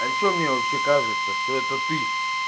а что мне вообще кажется что это ты